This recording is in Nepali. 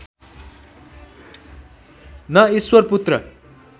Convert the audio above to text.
न ईश्वरपुत्र